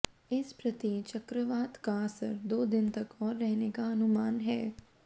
इस प्रति चक्रवात का असर दो दिन तक और रहने का अनुमान है